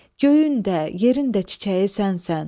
Göyün də, yerin də çiçəyi sənsən.